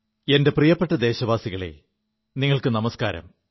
എന്റെ പ്രിയപ്പെ ദേശവാസികളേ നിങ്ങൾക്കു നമസ്കാരം